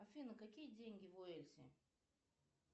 афина какие деньги в уэльсе